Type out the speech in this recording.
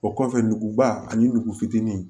O kɔfɛ nuguba ani nugu fitinin